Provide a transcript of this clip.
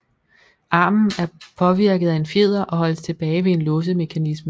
Armen er påvirket af en fjeder og holdes tilbage ved en låsemekanisme